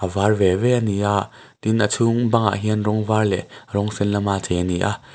var ve ve a ni a tin a chhung bangah hian rawng var leh rawng sen lama chei a ni a.